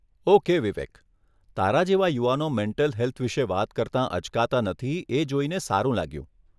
Okay Vivek, તારા જેવા યુવાનો મેન્ટલ હેલ્થ વિષે વાત કરતાં અચકાતા નથી એ જોઈને સારું લાગ્યું.